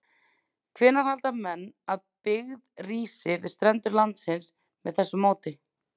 Hvenær halda menn að byggð rísi við strendur landsins með þessu móti?